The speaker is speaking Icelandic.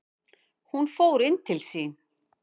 Hún fór inn til sín.